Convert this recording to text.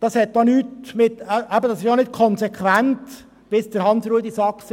Das ist nicht konsequent, wie Grossrat Saxer gesagt hat.